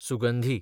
सुगंधी